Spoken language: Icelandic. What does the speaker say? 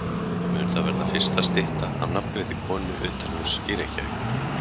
Mun það vera fyrsta stytta af nafngreindri konu utanhúss í Reykjavík.